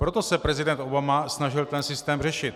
Proto se prezident Obama snažil ten systém řešit.